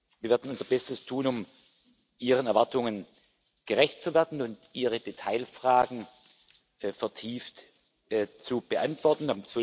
Wir werden unser Bestes tun, um Ihren Erwartungen gerecht zu werden und Ihre Detailfragen vertieft zu beantworten.